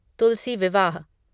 तुलसी विवाह